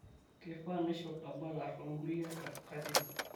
keifaa naishop tabaka too nkulie katitin